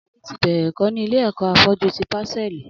Ali ti bẹrẹ ẹkọ ni ilé ẹkọ áfọ̀jù ti pásẹ̀lí